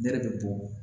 Ne de bɛ bɔ